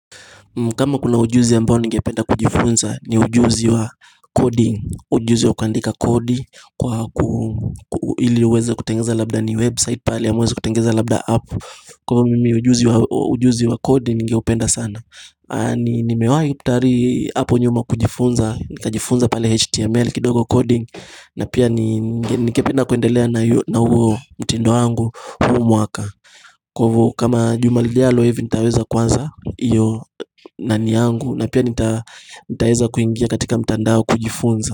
Kama kuna ujuzi ambayo ningependa kujifunza ni ujuzi wa coding ujuzi wa kuandika kodi kwa ili uweze kutengeneza labda ni website pale ama uweze kutengeneza labda app Kwa hivo mimi ujuzi wa coding ningeupenda sana Nimewai tari hapo nyuma kujifunza Nika jifunza pale html kidogo coding na pia ningependa kuendelea na huo mtindo wangu huu mwaka Kwa hivyo kama juma lijalo hivi nitaweza kwanza Iyo nani yangu na pia nitaweza kuingia katika mtandao kujifunza.